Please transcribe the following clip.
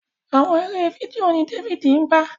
Àwọn eré fídíò ní David ngba.